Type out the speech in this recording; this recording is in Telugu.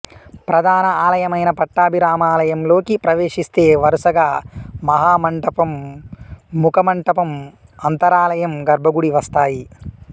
ప్రధాన ఆలయమైన పట్టభిరామలయంలోకి ప్రవేశిస్తే వరుసగా మహామంటపం ముఖమంటపం అంతరాలయం గర్భగుడి వస్తాయి